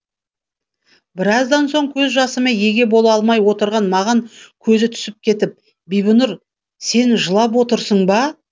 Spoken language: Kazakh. біраздан соң көз жасыма еге бола алмай отырған маған көзі түсіп кетіп бибінұр сен жылап отырсың ба